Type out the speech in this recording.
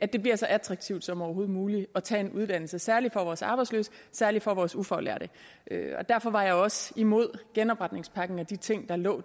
det bliver så attraktivt som overhovedet muligt at tage en uddannelse særlig for vores arbejdsløse særlig for vores ufaglærte derfor var jeg også imod genopretningspakken og de ting der lå